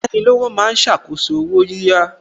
Ayánilówó ma ń ṣàkóso owó yíyá